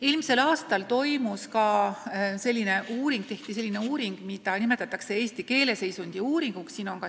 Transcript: Eelmisel aastal tehti selline uuring, mida nimetatakse eesti keeleseisundi uuringuks.